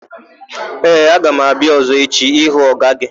Ee, aga m abịa ọ̀zọ́ echi ịhụ ọga gị.